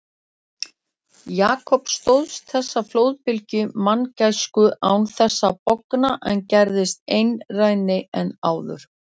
Jakob stóðst þessa flóðbylgju manngæsku án þess að bogna en gerðist einrænni en áður.